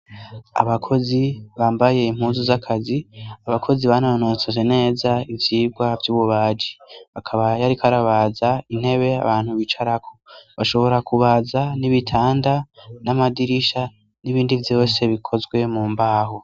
Abakozi bambaye impuzu z'akazi, abakozi banonotse neza ivyibwa vy'ububaji, bakaba yari karabaza intebe abantu bicaraho bashobora kubaza n'ibitanda n'amadirisha, n’ibindi byose bikozwe mu mbaho.